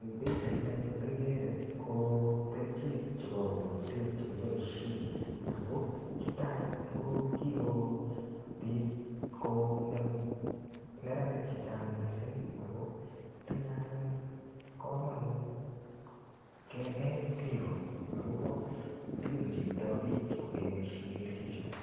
Eng pichait ni anyun kikee ko kerchek chebo bokitet chekiboishe ako chuto anyun ko kikobit ko ngem neranik che chang mising ako tinyei anyun komonut kenet biko akobo tukun cheitoi biik kokeboishe kerchek chuto.